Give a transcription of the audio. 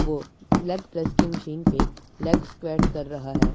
वो leg press की machine पे लेग स्क्वाट कर रहा है।